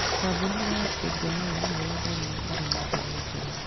Kambuni ya Tegemeo nĩ yendagĩria arĩmi mbegũ njega.